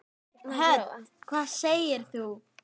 Hödd: Hvað segir þú?